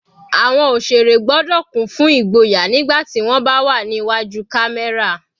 Àwọn òṣèré gbọ́dọ̀ kún fún igboyà nígbà tí wọ́n bá wà ní iwájú camera.